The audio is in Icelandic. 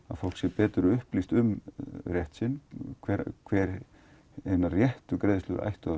að fólk sé betur upplýst um rétt sinn hver hver hinar réttu greiðslur ættu að